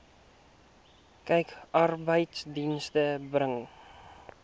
kyk arbeidsdienste bring